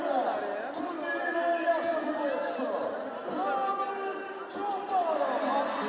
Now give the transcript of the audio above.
Yeddi nömrə, turnirin ən yaxşı qolçusu, Rəman Çobanov!